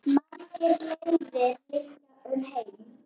Margar leiðir liggja um heim.